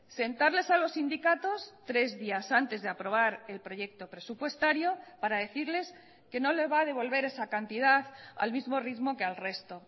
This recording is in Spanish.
sentarles a los sindicatos tres días antes de aprobar el proyecto presupuestario para decirles que no le va a devolver esa cantidad al mismo ritmo que al resto